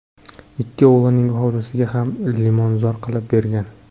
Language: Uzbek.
Ikki o‘g‘lining hovlisiga ham limonzor qilib bergan.